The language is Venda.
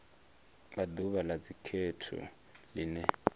nga ḓuvha ḽa dzikhetho ḽine